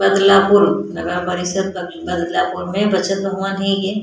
बदलापुर नगर परिषद बदला बदलापुर में बचत भवन है ये --